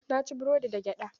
Na ci burodin da gyada